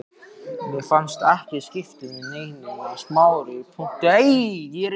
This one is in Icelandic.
Mér fannst það ekki skipta neinu sagði Smári þumbaralega.